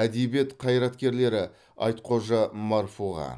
әдебиет қайраткерлері айтхожа марфуға